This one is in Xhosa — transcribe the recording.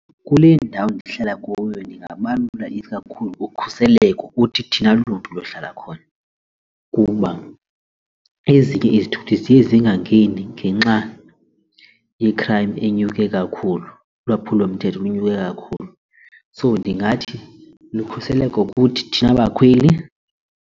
Kule ndawo ndihlala kuyo ndingabalula isikakhulu ukhuseleko kuthi thina lunto luhlala khona kuba ezinye izithuthi ziye zingangeni ngenxa ye-crime enyuke kakhulu ulwaphulomthetho lunyuke kakhulu. So ndingathi lukhuseleko kuthi thina bakhweli.